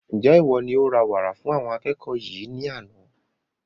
Njẹ iwọ ní o ra wàrà fún àwọn akẹ́kọ̀ọ́ yìí ní àna?